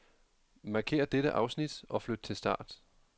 Markér dette afsnit og flyt til start.